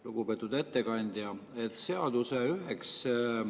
Lugupeetud ettekandja!